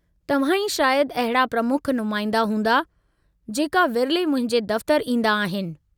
तव्हां ई शायदि अहिड़ा प्रमुख नुमाईंदा हूंदा, जेका विरले मुंहिंजे दफ़्तरु ईंदा आहिनि।